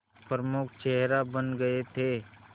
प्रमुख चेहरा बन गए थे